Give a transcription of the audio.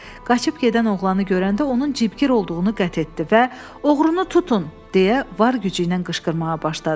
Qaçıb gedən oğlanı görəndə onun cibgir olduğunu qəti etdi və oğrunu tutun, deyə var gücü ilə qışqırmağa başladı.